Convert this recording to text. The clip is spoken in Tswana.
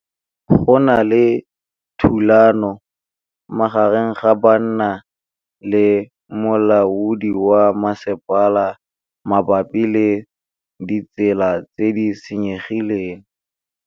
Go na le thulanô magareng ga banna le molaodi wa masepala mabapi le ditsela tse di senyegileng.